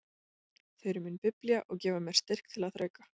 Þau eru mín biblía og gefa mér styrk til að þrauka.